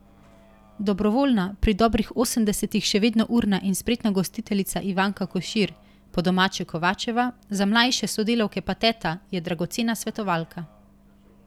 Dobrovoljna, pri dobrih osemdesetih še vedno urna in spretna gostiteljica Ivanka Košir, po domače Kovačeva, za mlajše sodelavke pa teta, je dragocena svetovalka.